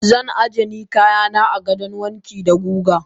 Zan ajeni kayana a gidan wanki da guga.